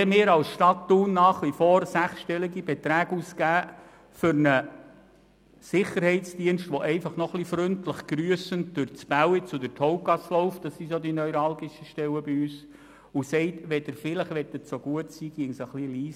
Sollen wir als Stadt Thun nach wie vor sechsstellige Beträge für einen Sicherheitsdienst ausgeben, der einfach noch ein wenig freundlich grüssend durch unsere neuralgischen Stellen Bälliz und Hauptgasse geht und sagt: «Wollen Sie bitte etwas leiser sein?